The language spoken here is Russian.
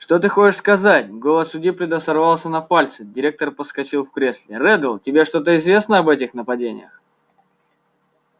что ты хочешь сказать голос у диппета сорвался на фальцет директор подскочил в кресле реддл тебе что-то известно об этих нападениях